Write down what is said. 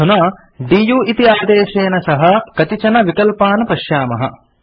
अधुना दु इति आदेशेन सह कतिचन विकल्पान् पश्यामः